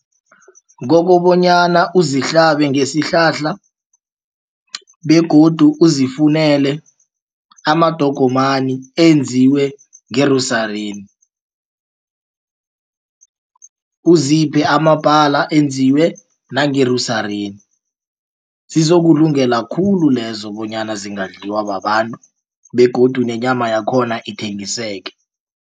Kokobonyana uzihlabe ngesihlahla begodu uzifunele amadogomani enziwe uziphe amabhala enziwe nange zizokulungela khulu lezo bonyana zingadliwa babantu begodu nenyama yakhona ithengiseke.